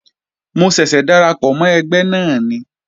Mo ṣẹ̀ṣẹ̀ darapọ̀ mọ́ ẹgbẹ́ náà ni